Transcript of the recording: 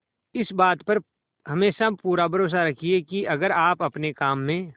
इस बात पर हमेशा पूरा भरोसा रखिये की अगर आप अपने काम में